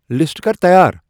List کر تیار ۔